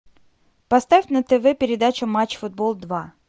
поставь на тв передачу матч футбол два